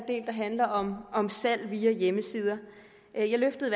der handler om om salg via hjemmesider jeg løftede